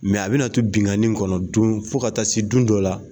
a bɛna to binnkanni kɔnɔ don fo ka taa se don dɔ la